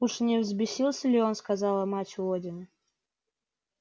уж не взбесился ли он сказала мать водина